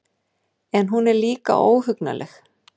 En hún er líka óhugnanleg.